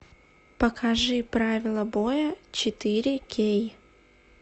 покажи правила боя четыре кей